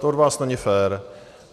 To od vás není fér.